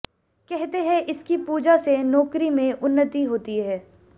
कहते हैं इसकी पूजा से नौकरी में उन्नति होती है